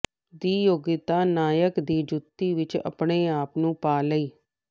ਦੀ ਯੋਗਤਾ ਨਾਇਕ ਦੀ ਜੁੱਤੀ ਵਿਚ ਆਪਣੇ ਆਪ ਨੂੰ ਪਾ ਲਈ